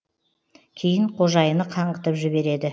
кейін қожайыны қаңғытып жібереді